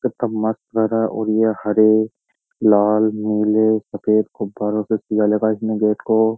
कितना मस्त भरा है और ये हरे लाल नीले सफेद गुब्बारों से सीजा लेगा इसने गेट को --